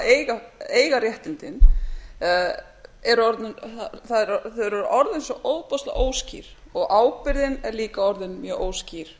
tilviki eiga réttindin eru orðin svo ofboðslega óskýr og ábyrgðin er líka orðin mjög óskýr